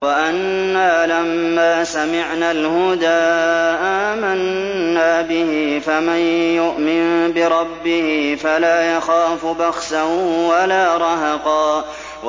وَأَنَّا لَمَّا سَمِعْنَا الْهُدَىٰ آمَنَّا بِهِ ۖ فَمَن يُؤْمِن بِرَبِّهِ فَلَا يَخَافُ بَخْسًا وَلَا رَهَقًا